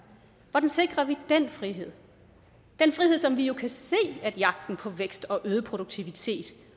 hvordan sikrer vi den frihed den frihed som vi jo kan se at jagten på vækst og øget produktivitet